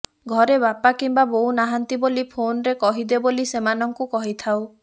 ଘରେ ବାପା କିମ୍ବା ବୋଉ ନାହାନ୍ତି ବୋଲି ଫୋନରେ କହିଦେ ବୋଲି ସେମାନଙ୍କୁ କହିଥାଉ